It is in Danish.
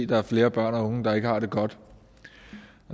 der er flere børn og unge der ikke har det godt